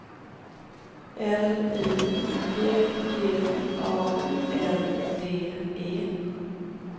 L I G G A N D E